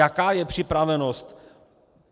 Jaká je připravenost?